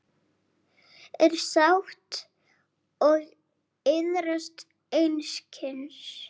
er sátt og iðrast einskis